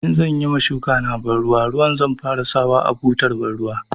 In zan yi ma shukana banruwa ruwa zan fara sawa a butar banruwa.